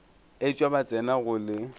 etšwa ba tsena go le